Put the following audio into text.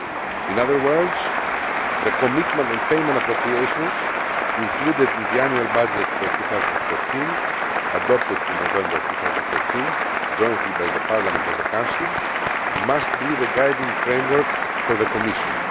In other words, the commitment and payment appropriations included in the annual budget for 2014, adopted in November 2013 jointly by Parliament and the Council, must be the guiding framework for the Commission.